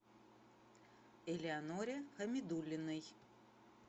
элеоноре хамидуллиной